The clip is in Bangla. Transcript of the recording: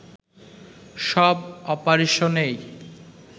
সব অপারেশনেই